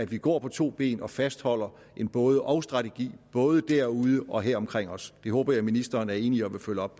vi går på to ben og fastholder en både og strategi både derude og her omkring os det håber jeg ministeren er enig i og vil følge op